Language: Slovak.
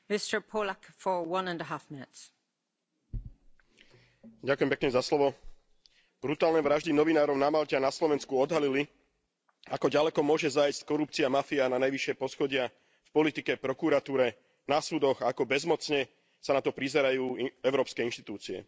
Vážená pani predsedajúca, brutálne vraždy novinárov na Malte a na Slovensku odhalili, ako ďaleko môže zájsť korupcia a mafia na najvyššie poschodia v politike, prokuratúre, na súdoch, a ako bezmocne sa na to prizerajú európske inštitúcie.